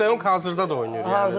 Luuk de Jong hazırda da oynayır.